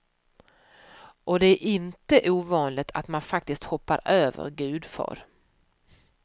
Och det är inte ovanligt att man faktiskt hoppar över gudfar.